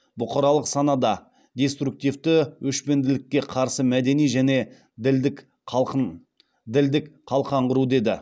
бұқаралық санада деструктивті өшпенділікке қарсы мәдени және ділдік қалқан құру деді